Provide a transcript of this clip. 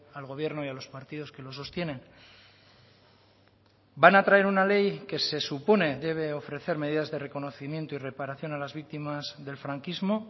al gobierno y a los partidos que lo sostienen van a traer una ley que se supone debe ofrecer medidas de reconocimiento y reparación a las víctimas del franquismo